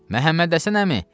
Məhəmməd Həsən əmi!